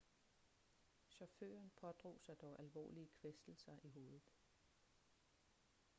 chaufføren pådrog sig dog alvorlige kvæstelser i hovedet